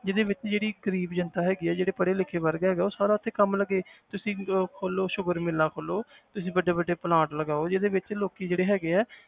ਜਿਹਦੇ ਵਿੱਚ ਜਿਹੜੀ ਗ਼ਰੀਬ ਜਨਤਾ ਹੈਗੀ ਹੈ ਜਿਹੜੇ ਪੜ੍ਹੇ ਲਿਖੇ ਵਰਗ ਹੈਗਾ ਉਹ ਸਾਰਾ ਇੱਥੇ ਕੰਮ ਲੱਗੇ ਤੁਸੀਂ ਉਹ ਖੋਲੋ sugar ਮਿੱਲਾਂ ਖੋਲੋ ਤੁਸੀਂ ਵੱਡੇ ਵੱਡੇ plant ਲਗਾਓ ਜਿਹਦੇ ਵਿੱਚ ਲੋਕੀ ਜਿਹੜੇ ਹੈਗੇ ਹੈ